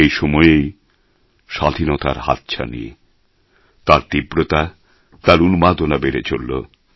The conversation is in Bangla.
এই সময়েই স্বাধীনতার হাতছানি তার তীব্রতা তার উন্মাদনা বেড়ে চলল